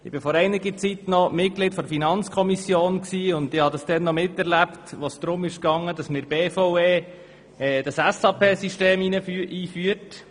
Ich war vor einiger Zeit Mitglied der FiKo und war dabei, als es darum ging, in der BVE das SAP-System einzuführen.